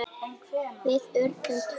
Við urðum tvö.